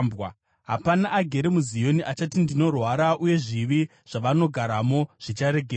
Hapana agere muZioni achati, “Ndinorwara,” uye zvivi zvavanogaramo zvicharegererwa.